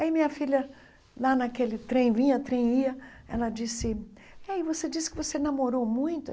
Aí minha filha, lá naquele trem, vinha, trem, ia, ela disse, e aí você disse que você namorou muito?